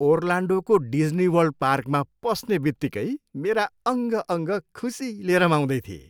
ओर्लान्डोको डिज्नीवर्ल्ड पार्कमा पस्नेबित्तिकै मेरा अङ्ग अङ्ग खुसीले रमाउँदै थिए।